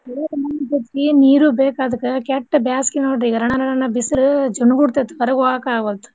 ಚೊಲೋ ಮಣ್ಣ್ ನೀರು ಬೇಕ್ ಅದ್ಕ್ ಕೆಟ್ಟ್ ಬ್ಯಾಸ್ಗೆ ನೋಡ್ರಿ ಈಗ್ ರಣ ರಣ ಬಿಸಿಲು ಚುಣುಗುಡ್ತೈತ್ ಹೊರಗ್ ಹೋಗಾಕ್ ಆಗ್ವಲ್ದು.